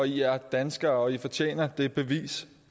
i er danskere og i fortjener det bevis